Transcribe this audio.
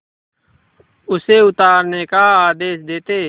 उसे उतारने का आदेश देते